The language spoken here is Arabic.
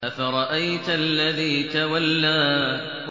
أَفَرَأَيْتَ الَّذِي تَوَلَّىٰ